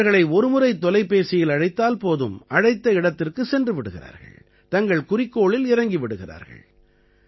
இவர்களை ஒரு முறை தொலைபேசியில் அழைத்தால் போதும் அழைத்த இடத்திற்குச் சென்று விடுகிறார்கள் தங்கள் குறிக்கோளில் இறங்கி விடுகிறார்கள்